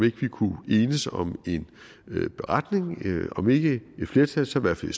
ikke vi kunne enes om en beretning om ikke et flertal så i hvert fald